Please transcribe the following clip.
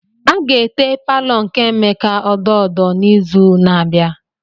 A ga-ete palọ nke Emeka odo odo n'izu na-abịa.